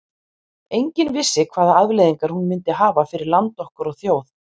Enginn vissi hvaða afleiðingar hún myndi hafa fyrir land okkar og þjóð.